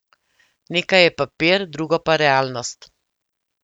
Nekaj je papir, drugo pa realnost.